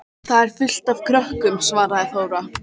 Þar er fullt af krökkum, svaraði Þóra.